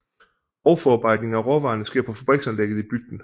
Grovforarbejdningen af råvarerne sker på fabriksanlægget i bygden